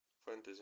фэнтези